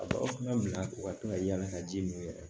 A bɛ aw ka bila u ka to ka yala ka ji min yɛrɛ